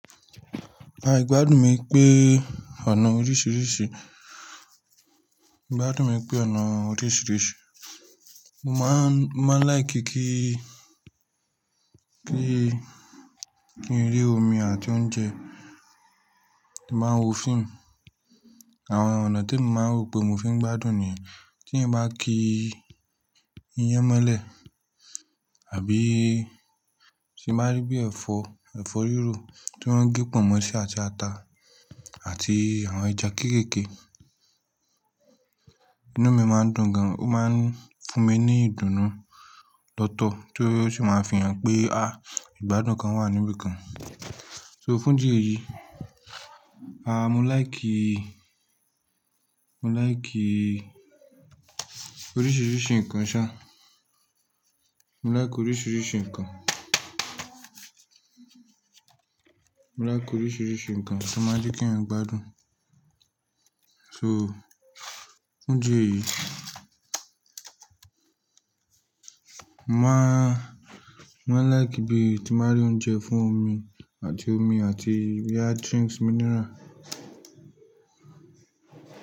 Ìgbádùn mi pé ọ̀nà oríṣìíríṣìí, ìgbádùn mi pé ọ̀nà oríṣìíríṣìí, mo máa ń, mo máa ń láì kí kí, kí, kí n rí omi àti oúnjẹ, mo máa ń wo fíìmù. Àwọn ọ̀nà temi máa ń rò pé mo fi ń gbádùn ni tí mo bá kí iyán molè àbí tí mo bá rí bí ẹ̀fọ́, ẹ̀fọ́ rírò tí wọ́n ń gé pọ̀nmọ́ ṣi àti ata àti àwọn ẹja kéékèèké, inú mi máa ń dùn gan, ó máa ń fún mi ní ìdùnnú lọ́tọ̀ tí ó sì máa ń fi hàn pé ìgbádùn kan wà níbẹ̀ kan. So fún idi eyi, mo láìkí, mo láìkí oríṣìíríṣìí nǹkan ṣa, mo láìkí oríṣìíríṣìí nǹkan. Mo láì kí oríṣìíríṣìí nǹkan to máa nje kí èèyàn gbádùn. So fún idi eyi mo máa, mo máa ń láì kí bí tí mo bá rí oúnjẹ fún omi àti omi àti boya drinks mineral.